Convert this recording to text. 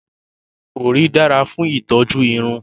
Òrí dára fún ìtọ́jú irun